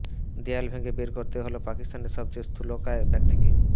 দেয়াল ভেঙে বের করতে হলো পাকিস্তানের সবচেয়ে স্থূলকায় ব্যক্তিকে